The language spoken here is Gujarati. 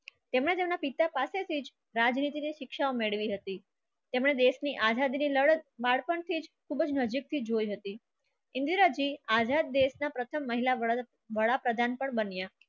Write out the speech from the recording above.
તેમણે દેશની પિતા પચતી રાજનીતિ ની શિક્ષા મિલ્વી હતી તમને દેશ ની આઝાદીની લડત બાળપણથી જ ખૂબ જ નજીકથી જોઈ હતી. આઝાદ દેશના પ્રથમ વડાપ્રધાન પણ બન્યા.